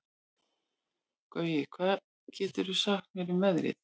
Gaui, hvað geturðu sagt mér um veðrið?